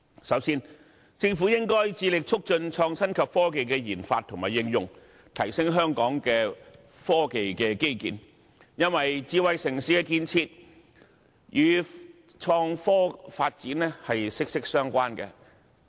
首先，政府應該致力促進創新科技的研發和應用，提升香港的科技基建，因為智慧城市的建設與創新科技發展息息相關。